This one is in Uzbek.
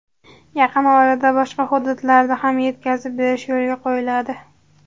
Yaqin orada boshqa hududlarda ham yetkazib berish yo‘lga qo‘yiladi.